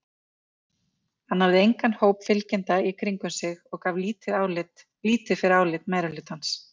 Hann hafði engan hóp fylgjenda í kringum sig og gaf lítið fyrir álit meirihlutans.